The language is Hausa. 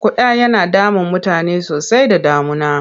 Ƙuda yana damun mutane sosai da damuna.